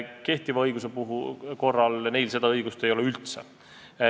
Kehtiva õiguse järgi neil seda õigust üldse ei ole.